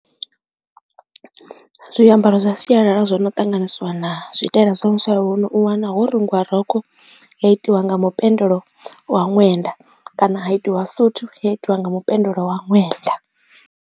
Zwiambaro zwa sialala zwo no ṱanganisiwa na zwitaela zwa musalauno u wana ho rungiwa rokho ya itiwa nga mupendelo wa ṅwenda kana ha itiwa suthu yo itiwa nga mupendelo wa ṅwenda.